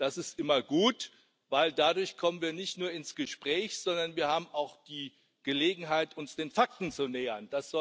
Das ist immer gut, denn dadurch kommen wir nicht nur ins Gespräch, sondern wir haben auch die Gelegenheit, uns den Fakten zu nähern.